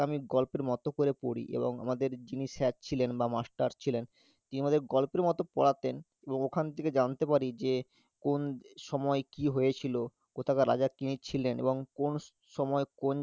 আমি গল্পের মত করে পড়ি এবং আমাদের যিনি sir ছিলেন বা master ছিলেন তিনি আমাদের গল্পের মত পড়াতেন, এবং ওখান থেকে জানতে পারি যে কোন সময় কি হয়েছিল কোথাকার রাজা কে ছিলেন এবং কোন স~ সময় কোন যে~